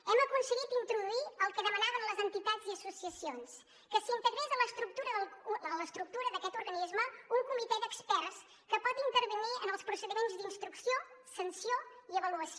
hem aconseguit introduir el que demanaven les entitats i associacions que s’integrés a l’estructura d’aquest organisme un comitè d’experts que pot intervenir en els procediments d’instrucció sanció i avaluació